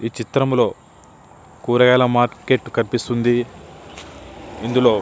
ఈ చిత్రంలో కూరగాయల మార్కెట్ కనిపిస్తోంది. ఇందులో--